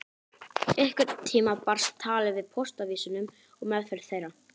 Einhvern tíma barst talið að póstávísunum og meðferð þeirra.